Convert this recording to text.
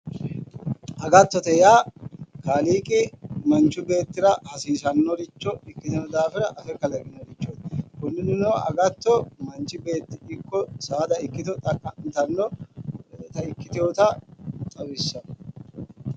Agattote yaa kaaliiqi manchu beettira hasiisanoricho ikkino daafira affe kalaqino, konira agatto manchi beetti ikko saada ikkitto xaqa'mittano ikkiteyotta xawissano.